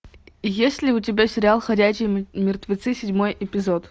есть ли у тебя сериал ходячие мертвецы седьмой эпизод